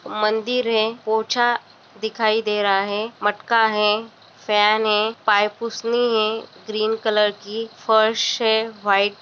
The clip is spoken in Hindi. मंदिर है पोछा दिखाई दे रहा है मटका है फैन है पैर पुछनी है ग्रीन कलर की फ़र्श है वाइट --